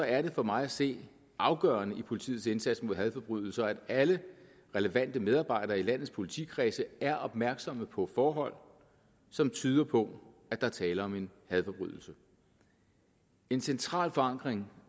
er det for mig at se afgørende i politiets indsats mod hadforbrydelser at alle relevante medarbejdere i landets politikredse er opmærksomme på forhold som tyder på at der er tale om en hadforbrydelse en central forankring